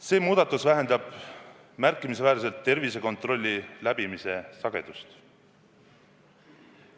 See muudatus vähendab märkimisväärselt tervisekontrolli läbimise sagedust.